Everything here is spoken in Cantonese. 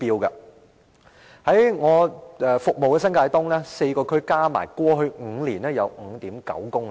在我服務的新界東的4個區內，在過去5年合計有 5.9 公里。